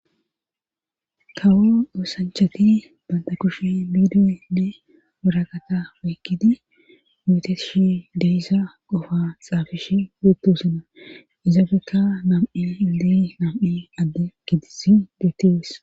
Kawo oosanchati banta kushe biidiyenne wurakata ooykkidi gooteshshi de'yssa qofa xaafishshe bettesana izafekka nam'i inddo nam'i adde gidis geetees